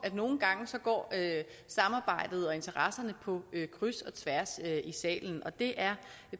at nogle gange går samarbejdet og interesserne på kryds og tværs i salen og det er